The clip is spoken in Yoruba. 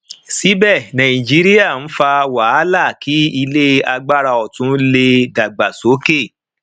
síbẹ nàìjíríà ń fa wàhálà kí ilé agbára otun lè dàgbà sókè